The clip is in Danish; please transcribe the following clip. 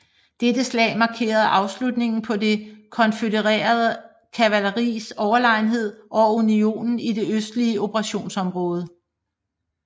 Dette slag markerede afslutningen på det konfødererede kavaleris overlegenhed over unionens i det østlige operationsområde